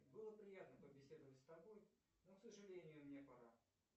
было приятно побеседовать с тобой но к сожалению мне пора